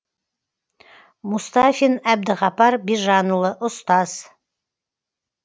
мұстафин әбдіғапар бижанұлы ұстаз